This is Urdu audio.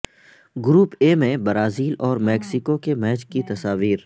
گروپ اے میں برازیل اور میکسیکو کے میچ کی تصاویر